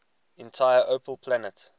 entire opel plant